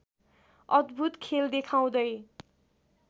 अद्‌भूत खेल देखाउँदै